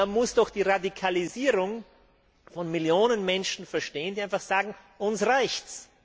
Man muss doch die Radikalisierung von Millionen Menschen verstehen, die einfach sagen Uns reicht's!.